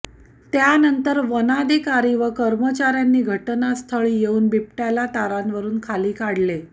त्यानंतर वनाधिकारी व कर्मचाऱ्यांनी घटनास्थळी येऊन बिबट्याला तारांवरून खाली काढले